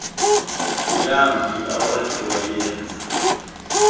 yambi awakha wayenza